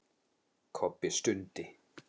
Kobbi stundi.